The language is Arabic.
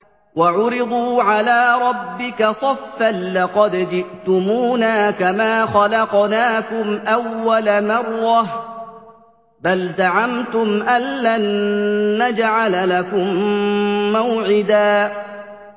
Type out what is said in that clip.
وَعُرِضُوا عَلَىٰ رَبِّكَ صَفًّا لَّقَدْ جِئْتُمُونَا كَمَا خَلَقْنَاكُمْ أَوَّلَ مَرَّةٍ ۚ بَلْ زَعَمْتُمْ أَلَّن نَّجْعَلَ لَكُم مَّوْعِدًا